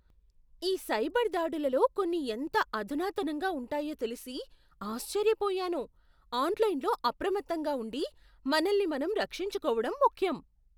ఈ సైబర్ దాడులలో కొన్ని ఎంత అధునాతనంగా ఉంటాయో తెలిసి ఆశ్చర్యపోయాను. ఆన్లైన్లో అప్రమత్తంగా ఉండి, మనల్ని మనం రక్షించుకోవడం ముఖ్యం.